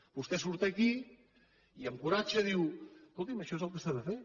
vostè surt aquí i amb coratge diu escoti’m això és el que s’ha de fer